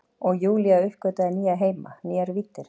Og Júlía uppgötvaði nýja heima, nýjar víddir.